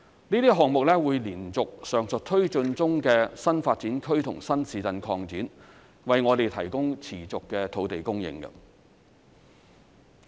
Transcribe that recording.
這些項目會延續上述推進中的新發展區及新市鎮擴展，為我們提供持續的土地供應。